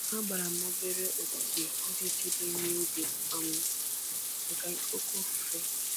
Agbara m obere ogige iji chebe ihe ubi um maka oke ifufe.